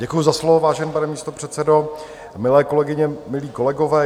Děkuju za slovo, vážený pane místopředsedo, milé kolegyně, milí kolegové.